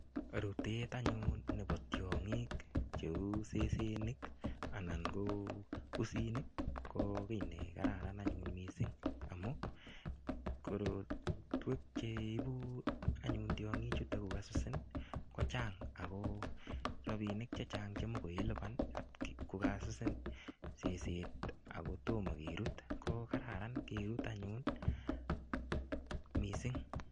Rutet anyun nebo tiongik cheu sesenik anan ko pusinik ko ki ne kararan anyun mising amun korotwek cheibu anyun tiongichuto kokasusin kochang ako rabinik Che Chang Che much ilipan kokasusin seset ako tomo kerut ko Kararan kerut anyun mising